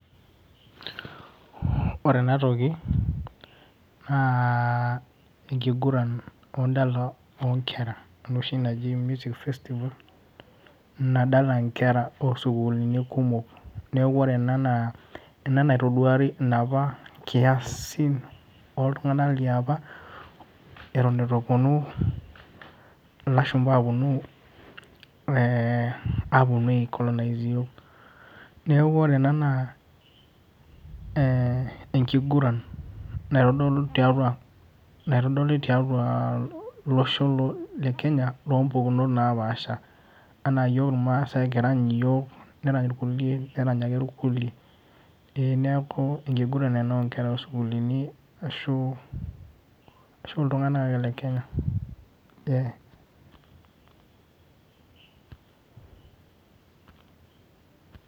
Ore enatoki, naa enkiguran wedala onkera enoshi naji meeting festival nadala nkera osukuulini kumok. Neeku ore ena naa, ena naitoduari inapa kiasin oltung'anak liapa, eton itu eponu ilashumpa aponu eh aponu ai colonise iyiok. Neeku ore ena naa eh enkiguran naitodolu tiatua, naitodoli tiatua loshon le Kenya lompukunot napaasha. Anaa yiok irmaasai kirany iyiok, kerany irkulie nerany ake irkulie. Eh neeku enkiguran ena osukuulini ashu iltung'anak ake le Kenya.